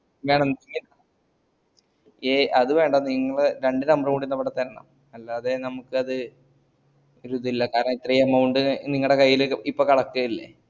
ഞാനെന്ന ഏ അത് വേണ്ട നീങ്കള് രണ്ട് number ഊടി ഇവട തരണം അല്ലാതെ ഞമക്കത് ഒരു ഇതില്ല കാരണം ഇത്രേം amount നിങ്ങളെ കയ്യീല് ഇപ്പ collect യ്യല്ലേ